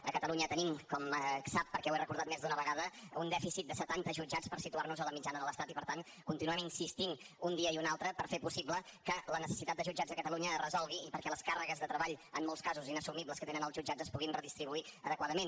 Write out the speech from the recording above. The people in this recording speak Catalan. a catalunya tenim com sap perquè ho he recordat més d’una vegada un dèficit de setanta jutjats per situar nos a la mitjana de l’estat i per tant continuem insistint un dia i un altre per fer possible que la necessitat de jutjats a catalunya es resolgui i perquè les càrregues de treball en molts casos inassumibles que tenen els jutjats es puguin redistribuir adequadament